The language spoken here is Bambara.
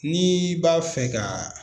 N'i b'a fɛ ka